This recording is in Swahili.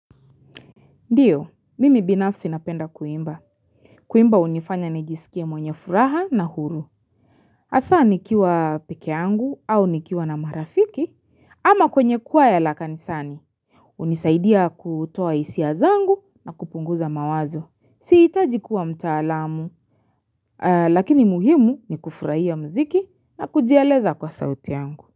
Ndiyo, mimi binafsi napenda kuimba. Kuimba hunifanya nijisikie mwenye furaha na huru. Hasa nikiwa peke yangu au nikiwa na marafiki ama kwenye kwaya la kanisani. Hunisaidia kutoa hisia zangu na kupunguza mawazo. Sihitaji kuwa mtaalamu, lakini muhimu ni kufurahia mziki na kujieleza kwa sauti yangu.